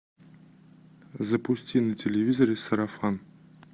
запусти на телевизоре сарафан